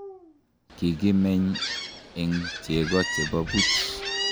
Kikimeny eng cheko che bo buch.